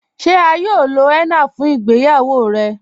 Ṣe à yóò lọ henna fun ìgbéyàwó rẹ?